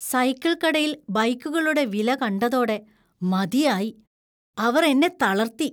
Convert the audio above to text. Cycle കടയിൽ ബൈക്കുകളുടെ വില കണ്ടതോടെ മതിയായി. അവർ എന്നെ തളര്‍ത്തി.